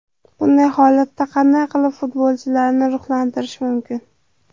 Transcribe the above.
Bunday holatda qanday qilib futbolchilarni ruhlantirish mumkin?